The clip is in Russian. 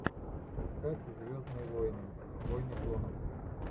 искать звездные войны войны клонов